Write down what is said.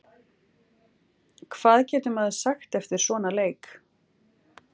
Hvað getur maður sagt eftir svona leik?